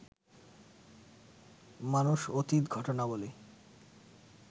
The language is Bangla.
মানুষ অতীত ঘটনাবলী